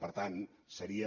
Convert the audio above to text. per tant seria